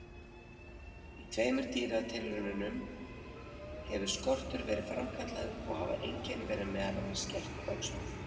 Í tveimur dýratilraunum hefur skortur verið framkallaður og hafa einkenni verið meðal annars skertur vöxtur.